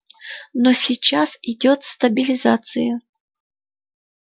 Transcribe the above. но сейчас идёт стабилизация